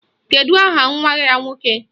Kedụ aha nwa ya nwoke?